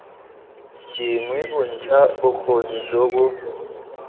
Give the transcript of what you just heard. dingwe bontsha bokgoni jo bo